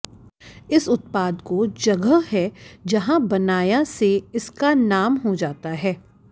इस उत्पाद को जगह है जहाँ बनाया से इसका नाम हो जाता है